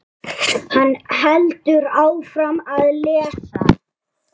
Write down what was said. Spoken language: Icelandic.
Hann heldur áfram að lesa